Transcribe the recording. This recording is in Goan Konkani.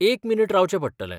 एक मिनीट रावचें पडटलें.